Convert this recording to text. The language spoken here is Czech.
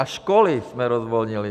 A školy jsme rozvolnili.